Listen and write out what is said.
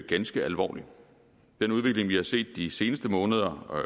ganske alvorlig den udvikling vi har set de seneste måneder og